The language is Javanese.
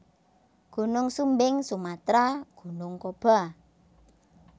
Gunung Sumbing Sumatra Gunung Kaba